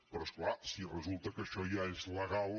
però és clar si resulta que això ja és legal